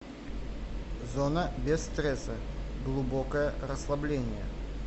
зона без стресса глубокое расслабление